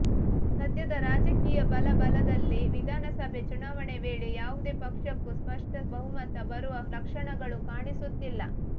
ಸದ್ಯದ ರಾಜಕೀಯ ಬಲಾಬಲದಲ್ಲಿ ವಿಧಾನಸಭೆ ಚುನಾವಣೆ ವೇಳೆ ಯಾವುದೇ ಪಕ್ಷಕ್ಕೂ ಸ್ಪಷ್ಟ ಬಹುಮತ ಬರುವ ಲಕ್ಷಣಗಳು ಕಾಣಿಸುತ್ತಿಲ್ಲ